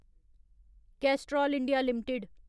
Castrol India limited